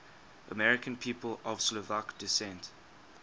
american people of slovak descent